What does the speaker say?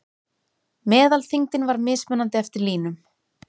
Meðalþyngdin var mismunandi eftir línum.